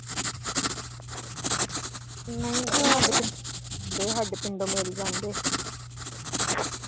ਨਹੀਂ ਨਹੀਂ ਸਾਡੇ ਤੇ ਸਾਡੇ ਪਿੰਡੋ ਮਿਲ ਜਾਂਦੇ